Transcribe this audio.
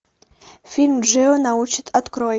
фильм джио научит открой